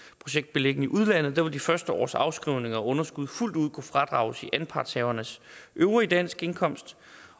beliggende i udlandet vil de første års afskrivninger og underskud fuldt ud kunne fradrages i anpartshavernes øvrige danske indkomst